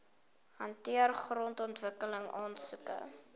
hanteer grondontwikkeling aansoeke